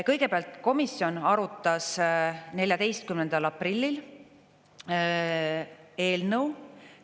Kõigepealt, komisjon arutas 14. aprillil eelnõu.